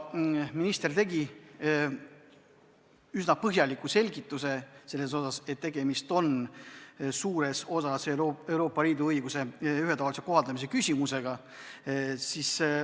Minister andis üsna põhjaliku selgituse, et tegemist on suures osas Euroopa Liidu õiguse ühetaolise kohaldamisega.